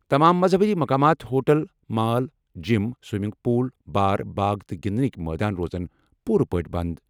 تمام مذہبی مقامات، hotel, mall, gym, swimming pool, bar, باغ تہٕ گِنٛدنٕکۍ مٲدان روزن پوٗرٕ پٲٹھۍ بنٛد۔